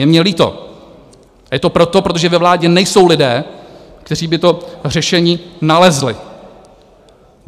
Je mně líto, je to proto, protože ve vládě nejsou lidé, kteří by to řešení nalezli.